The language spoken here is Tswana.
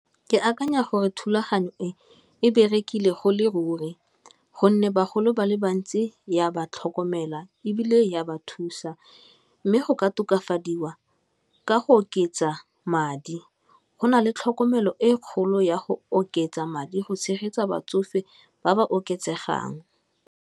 Ke akanya gore thulaganyo e e berekile go le ruri gonne bagolo ba le bantsi ya ba tlhokomela ebile ya ba thusa, mme go ka okafadiwa ka go oketsa madi go, na le tlhokomelo e e kgolo ya go oketsa madi go tshegetsa batsofe ba ba oketsegang.